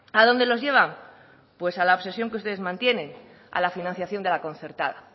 a dónde los lleva pues a la obsesión que ustedes mantienen a la financiación de la concertada